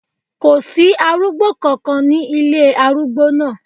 Kò sí arúgbó kankan ní ilé arúgbó náà.